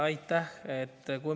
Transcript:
Aitäh!